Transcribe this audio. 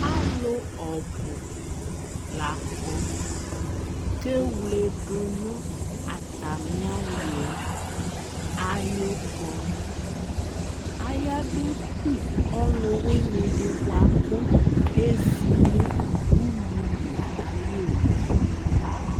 Alu ɔbu la kɔ kewledu nu atami aliɛ ayu kɔnu ayaba ku atami ɔluwinidi buaku ɔye zi nu ululi ayu owu